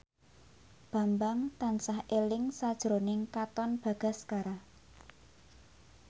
Bambang tansah eling sakjroning Katon Bagaskara